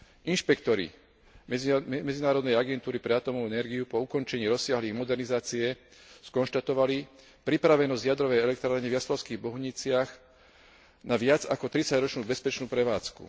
Inšpektori Medzinárodnej agentúry pre atómovú energiu po ukončení rozsiahlej modernizácie skonštatovali pripravenosť jadrovej elektrárne v Jaslovských Bohuniciach na viac ako tridsaťročnú bezpečnú prevádzku.